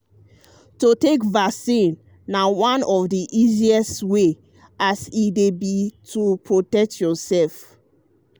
to take vaccine na one of the easiest um way as e um be to protect yourself.